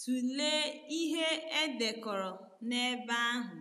tụlee ihe e dekọrọ n’ebe ahụ.